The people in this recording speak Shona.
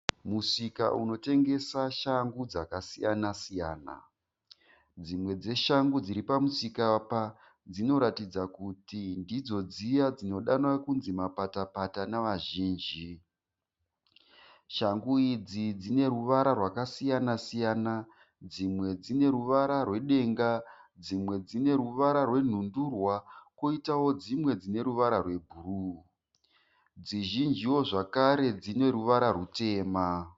Musika unotengesa shangu dzakasiyana siyana. Dzimwe dzeshangu dziri pamusika apa dzinoratidza kuti ndidzo dziya dzinodanwa kunzi mapata pata nevazhinji. Shangu idzi dzine ruvara rwakasiyana siyana. Dzimwe dzine ruvara rwedenga dzimwe dzineruvara rwenhundurwa koitawo dzimwe dzine ruvara rwebhuru. Dzizhinjiwo zvakare dzine ruvara rutema.